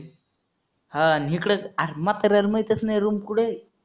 हां आणि हिकडंच आणि म्हाताऱ्याला माहीतच नाही room कुठे आहे.